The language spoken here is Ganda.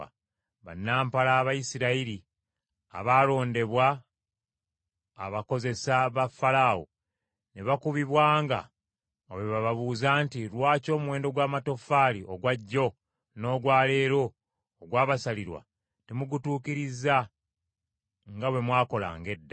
Bannampala Abayisirayiri, abaalondebwa abakozesa ba Falaawo, ne bakubibwanga nga bwe babuuzibwa nti, “Lwaki omuwendo gw’amatoffaali ogwa jjo n’ogwa leero ogwabasalirwa temugutuukirizza nga bwe mwakolanga edda?”